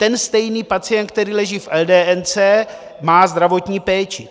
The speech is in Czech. Ten stejný pacient, který leží v eldéence, má zdravotní péči.